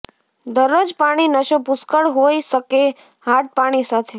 દરરોજ પાણી નશો પુષ્કળ હોઇ શકે હાર્ડ પાણી સાથે